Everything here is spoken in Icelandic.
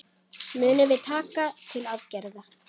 Munum við taka til aðgerða?